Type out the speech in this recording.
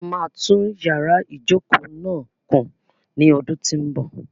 A máa tún yàrá ìjokòó náà kùn ní ọdún tí ń bọ̀.